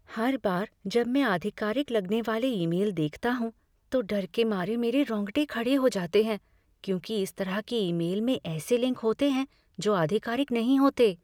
हर बार जब मैं आधिकारिक लगने वाले ईमेल देखता हूँ तो डर के मारे मेरे रोंगटे खड़े हो जाते हैं क्योंकि इस तरह के ईमेल में ऐसे लिंक होते हैं जो आधिकारिक नहीं होते।